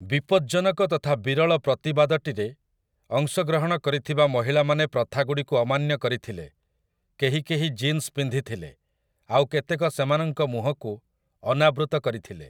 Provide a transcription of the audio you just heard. ବିପଜ୍ଜନକ ତଥା ବିରଳ ପ୍ରତିବାଦଟିରେ ଅଂଶଗ୍ରହଣ କରିଥିବା ମହିଳାମାନେ ପ୍ରଥାଗୁଡ଼ିକୁ ଅମାନ୍ୟ କରିଥିଲେ, କେହି କେହି ଜିନ୍ସ୍ ପିନ୍ଧିଥିଲେ, ଆଉ କେତେକ ସେମାନଙ୍କ ମୁହଁକୁ ଅନାବୃତ କରିଥିଲେ ।